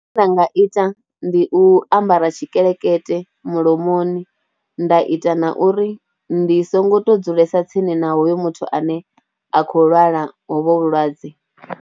Zwine vha nga ita ndi u ambara tshikelekete mulomoni nda ita na uri ndi songo tou dzulesa tsini na hoyo muthu ane a khou lwala hovhu vhulwadze.